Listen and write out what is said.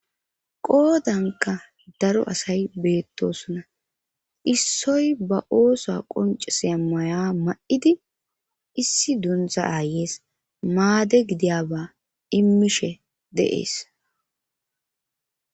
qoodanka daro asay beettosona issoy ba ooso qoncisiyabba maya ma'idi issi donza aayeyees maade gidiyaba immishe de'ees